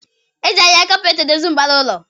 Eji ahịhịa kapet edozi mbara ụlọ